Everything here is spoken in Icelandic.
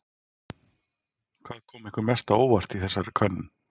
Hvað kom ykkur mest á óvart í þessari könnun?